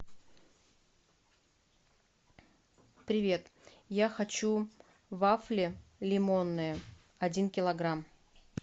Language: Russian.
привет я хочу вафли лимонные один килограмм